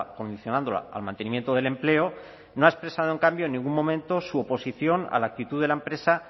condicionándola al mantenimiento del empleo no ha expresado en cambio en ningún momento su oposición a la actitud de la empresa